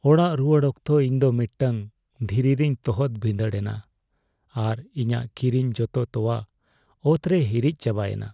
ᱚᱲᱟᱜ ᱨᱩᱣᱟᱹᱲ ᱚᱠᱛᱚ, ᱤᱧ ᱫᱚ ᱢᱤᱫᱴᱟᱝ ᱫᱷᱤᱨᱤ ᱨᱮᱧ ᱛᱚᱦᱚᱫ ᱵᱷᱤᱸᱫᱟᱹᱲᱮᱱᱟ, ᱟᱨ ᱤᱧᱟᱜ ᱠᱤᱨᱤᱧ ᱡᱚᱛᱚ ᱛᱚᱣᱟ ᱚᱛ ᱨᱮ ᱦᱤᱨᱤᱡ ᱪᱟᱵᱟᱭᱮᱱᱟ ᱾